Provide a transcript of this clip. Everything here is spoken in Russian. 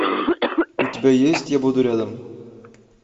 у тебя есть я буду рядом